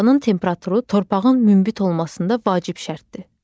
Havanın temperaturu torpağın münbit olmasında vacib şərtdir.